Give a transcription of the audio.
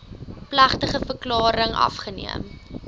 plegtige verklaring afgeneem